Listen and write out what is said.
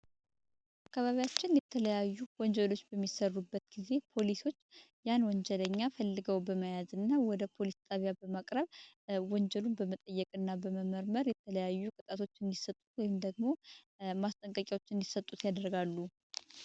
አካባቢያችን የተለያዩ ወንጀሎች በሚሰሩበት ጊዜ ፖሊሶች ያን ወንጀለኛ ፈልገው በመያዝ እና ወደ ፖሊስ ጣቢያ በማቅረብ ወንጀሉን በመጠየቅ እና በመመርመር የተለያዩ ቅጣቶች እንድሰጡት ወይም ደግሞ ማስጠንቀቂዎች እንዲሰጡት ያደርጋሉ።